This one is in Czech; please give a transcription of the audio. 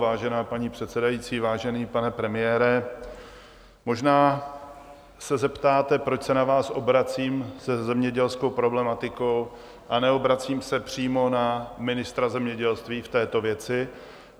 Vážená paní předsedající, vážený pane premiére, možná se zeptáte, proč se na vás obracím se zemědělskou problematikou a neobracím se přímo na ministra zemědělství v této věci.